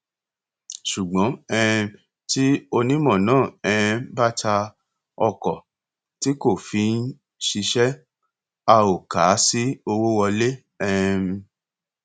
ṣùgbọn um tí onímọ náà um bá ta ọkọ tó kò fi ń ṣiṣẹ a ò kà á sí owó wọlé um